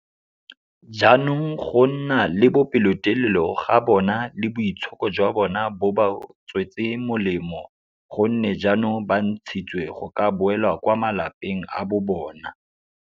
Jaanong go nna le pelotelele ga bona le boitshoko jwa bona bo ba tswetse molemo go nne jaanong ba ntshitswe go ka boela kwa malapeng a bobona.